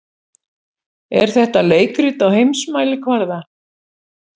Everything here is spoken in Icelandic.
Er þetta leikrit á heimsmælikvarða?